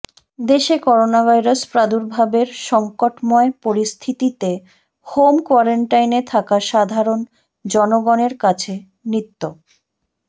দেশে করোনাভাইরাস প্রাদুর্ভাবের সংকটময় পরিস্থিতিতে হোম কোয়ারেন্টাইনে থাকা সাধারণ জনগণের কাছে নিত্